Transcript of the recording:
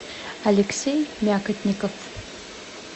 алексей мякотников